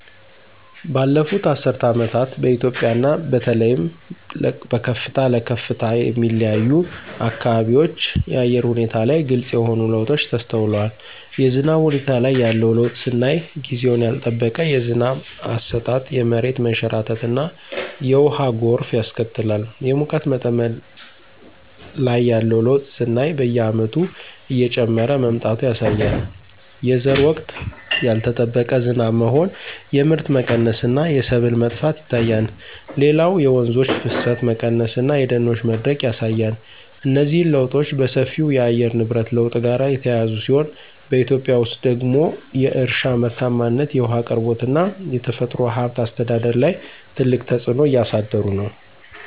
ባለፉት አስርት ዓመታት በኢትዮጵያ እና በተለይም በከፍታ ለከፍታ የሚለያዩ አካባቢዎች የአየር ሁኔታ ላይ ግልጽ የሆኑ ለውጦች ተስተውለዋል። የዝናብ ሁኔታ ላይ ያለው ለውጥ ስናይ ጊዜውን ያልጠበቀ የዝናብ አሰጣጥ የመሬት መንሸራተትና የውሃ ጎርፍ ያስከትላል። የሙቀት መጠን ላይ ያለው ለውጥ ስናይ በየዓመቱ እየጨመረ መምጣቱ ያሳያል። የዘር ወቅት ያልጠበቀ ዝናብ መሆን የምርት መቀነስ እና የሰብል መጥፋት ይታያል። ሌላው የወንዞች ፍሰት መቀነስ እና የደኖች መድረቅ ያሳያል። እነዚህ ለውጦች በሰፊው ከየአየር ንብረት ለውጥ ጋር የተያያዙ ሲሆን፣ በኢትዮጵያ ውስጥ ደግሞ የእርሻ ምርታማነት፣ የውሃ አቅርቦት እና የተፈጥሮ ሀብት አስተዳደር ላይ ትልቅ ተጽዕኖ እያሳደሩ ነው።